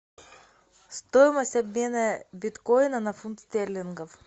стоимость обмена биткоина на фунт стерлингов